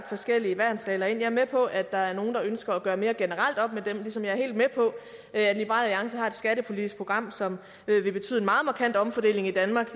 forskellige værnsregler ind jeg er med på at der er nogle der ønsker at gøre mere generelt op med dem ligesom jeg er helt med på at liberal alliance har et skattepolitisk program som vil betyde en meget markant omfordeling i danmark